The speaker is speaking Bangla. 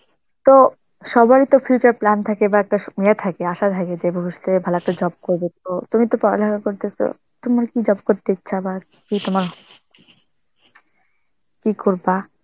তো সবারই তো future plan থাকে বা একটা সময় থাকে, আশা থাকে যে ভবিষৎএ ভালো একটা job করব, তো তুমি তো পড়ালেখা করতেছো, তোমার কি job করতে ইচ্ছা, বা কি তোমার~ কি করবা?